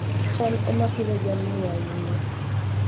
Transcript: cham ema Pidhoo jamni ahinya